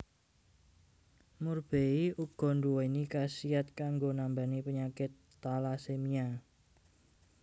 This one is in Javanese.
Murbei uga nduwéni khasiat kanggo nambani penyakit talasemia